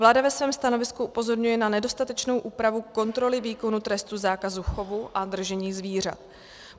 Vláda ve svém stanovisku upozorňuje na nedostatečnou úpravu kontroly výkonu trestu zákazu chovu a držení zvířat.